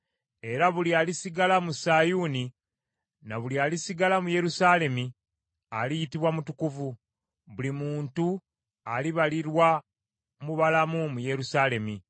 Era buli alisigala mu Sayuuni na buli alisigala mu Yerusaalemi aliyitibwa mutukuvu, buli muntu alibalirwa mu balamu mu Yerusaalemi.